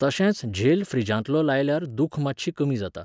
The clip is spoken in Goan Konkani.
तशेंच झेल फ्रिजांतलो लायल्यार दूख मातशी कमी जाता.